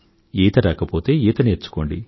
ఈత రాకపోతే ఈత నేర్చుకోండి